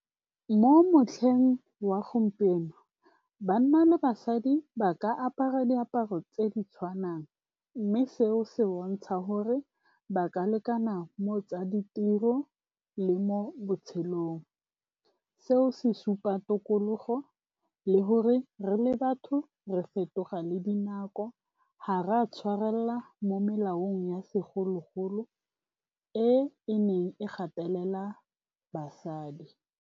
Mo motlheng wa gompieno banna le basadi ba ka apara diaparo tse di tshwanang mme seo se bontsha gore ba ka lekana mo tsa ditiro le mo botshelong. Seo se supa tokologo le gore re le batho re fetoga le dinako, ga re a tshwarelela mo molaong ya segologolo e e neng e gatelela basadi.